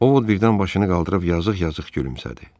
Ovod birdən başını qaldırıb yazıq-yazıq gülümsədi.